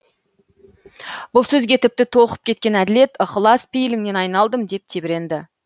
бұл сөзге тіпті толқып кеткен әділет ықылас пейіліңнен айналдым деп тебіренді